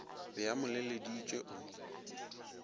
be a mo leleditše o